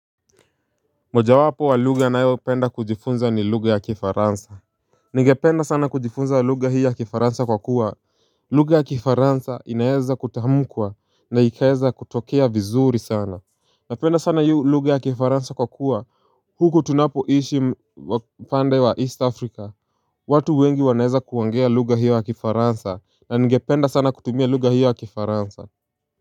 Mojawapo wa lugha nayopenda kujifunza ni lugha ya kifaransa. Ningependa sana kujifunza lugha hii ya kifaransa kwa kuwa lugha ya kifaransa inaeza kutamkwa na ikaeza kutokea vizuri sana. Napenda sana iyo lugha ya kifaransa kwa kuwa huku tunapoishi pande wa east afrika watu wengi wanaweza kuongea lugha hiyo ya kifaransa na ningependa sana kutumia lugha hiyo ya kifaransa.